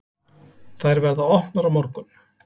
Þær verða opnar á morgun.